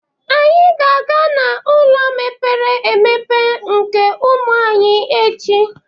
Anyị ga-aga n'ụlọ mkpọrọ mepere emepe nke ụmụ nwanyị echi.